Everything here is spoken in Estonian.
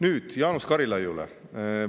Nüüd, Jaanus Karilaiule.